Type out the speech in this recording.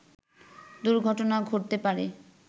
দুর্ঘটনা ঘটতে পারে